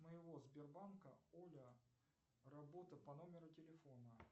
моего сбербанка оля работа по номеру телефона